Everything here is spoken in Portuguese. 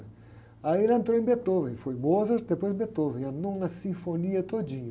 Aí ela entrou em Beethoven, foi Mozart, depois Beethoven, a Nona Sinfonia todinha.